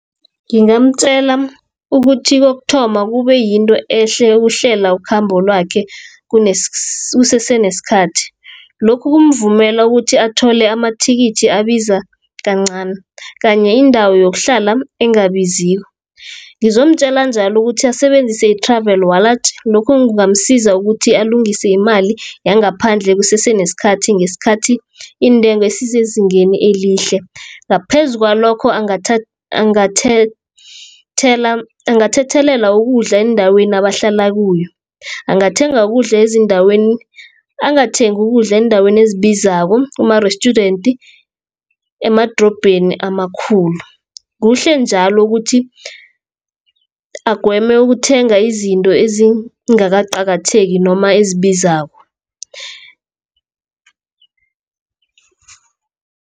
Ngingamtjela ukuthi kokuthoma, kube yinto ehle ukuhlela ukhambo lwakhe kusese nesikhathi. Lokhu kumvumela ukuthi athole amathikithi abiza kancani, kanye indawo yokuhlala engabiziko. Ngizomtjela njalo ukuthi asebenzise i-Travel Wallet, lokho kungamsiza ukuthi alungise imali yangaphandle kusese nesikhathi, ngesikhathi iintengo ezisezingeni elihle. Ngaphezu kwalokho angathethelela ukudla endaweni abahlala kuyo, angathengi ukudla eendaweni ezibizako, ema-restaurant, emadrobheni amakhulu. Kuhle njalo ukuthi agweme ukuthenga izinto ezingakaqakatheki noma ezibizako.